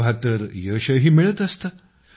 तेव्हा तर यशही मिळत असतं